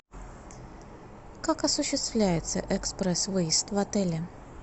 как осуществляется экспресс выезд в отеле